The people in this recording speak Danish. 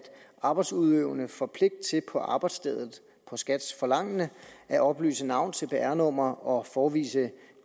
arbejdsudøvende får pligt til på arbejdsstedet på skats forlangende at oplyse navn cpr nummer og at forevise